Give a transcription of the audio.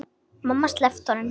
Mamma sleppti honum.